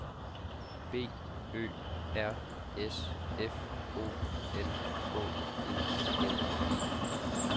B Ø R S F O L K E N E